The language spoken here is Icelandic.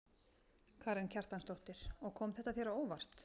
Karen Kjartansdóttir: Og kom þetta þér á óvart?